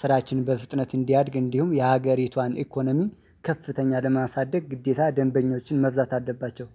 ስራችንን በፍጥነት እንዲያድግ እንዲሁም የሀገሪቷን ኢኮኖሚ ከፍተኛ ለማሳደግ ግዴታ ደንበኞችን መብዛት አለባቸው